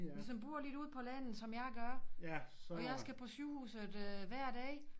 Hvis man bor lidt ude på landet som jeg gør og jeg skal på sygehuset hver dag